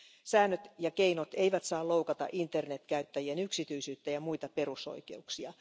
Säännöt ja keinot eivät saa loukata internetkäyttäjien yksityisyyttä ja muita perusoikeuksia.